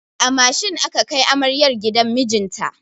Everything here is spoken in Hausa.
A mashin aka kai amaryar gidan mijinta.